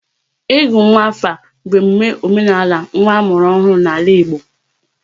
Ịgụ nwa afa bụ emume omenala nwa a mụrụ ọhụrụ n'ala Igbo